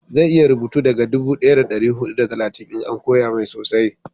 zai iya rubutu daga dubu daya da dari hudu da talatin in an koya mai sosai